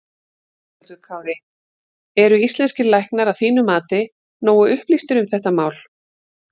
Höskuldur Kári: Eru íslenskir læknar að þínu mati nógu upplýstir um þetta mál?